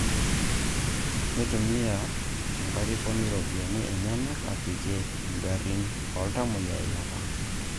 Neitumia enkarikoni iropiyiani enyenak apikie ingarrin ooltamuoyia eilata